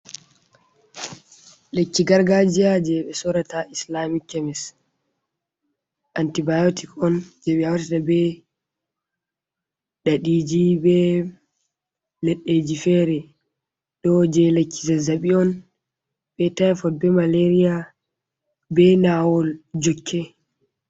Lekki gargajiya je ɓe sorata ha islamic kemis, antibiotic on je ɓe hautata be ɗaɗiji be leɗɗeji fere, ɗo je lekki zazzaɓi on, be tifod, be malaria, be nawol jokke.